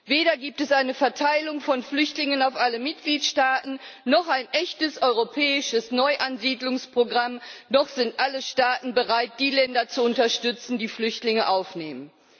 Weder gibt es eine Verteilung von Flüchtlingen auf alle Mitgliedstaaten noch ein echtes europäisches Neuansiedlungsprogramm, noch sind alle Staaten bereit, diejenigen Länder zu unterstützen, die Flüchtlinge aufnehmen.